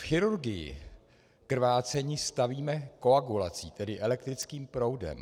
V chirurgii krvácení stavíme koagulací, tedy elektrickým proudem.